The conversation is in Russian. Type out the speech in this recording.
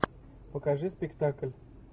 покажи спектакль